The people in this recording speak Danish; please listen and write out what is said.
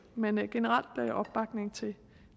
men generelt opbakning til